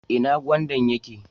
Ina gwandan yake?